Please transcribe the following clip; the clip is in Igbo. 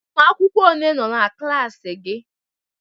Ụmụ akwụkwọ ole nọ n'klas gị?